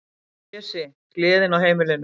Pési, gleðin á heimilinu.